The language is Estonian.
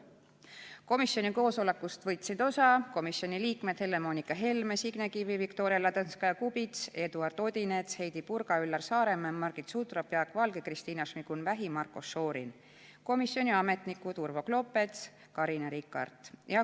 Komisjoni koosolekust võtsid osa komisjoni liikmed Helle-Moonika Helme, Signe Kivi, Viktoria Ladõnskaja-Kubits, Eduard Odinets, Heidy Purga, Üllar Saaremäe, Margit Sutrop, Jaak Valge, Kristina Šmigun-Vähi ja Marko Šorin ning komisjoni ametnikud Urvo Klopets ja Carina Rikart.